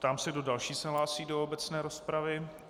Ptám se, kdo další se hlásí do obecné rozpravy.